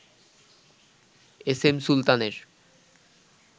SM সুলতানের